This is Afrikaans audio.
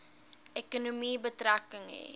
ekonomie betrekking hê